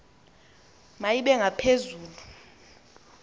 ma ibe ngaphezulu